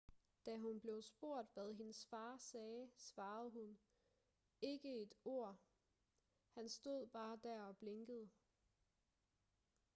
da hun blev spurgt hvad hendes far sagde svarede hun ikke et ord han stod bare der og blinkede